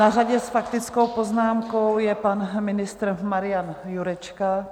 Na řadě s faktickou poznámkou je pan ministr Marian Jurečka.